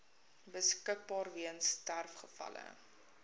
beskikbaar weens sterfgevalle